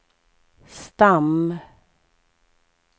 stam